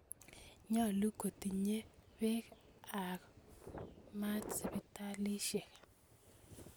Nyalu kotinye peek ak maat sipitalisyek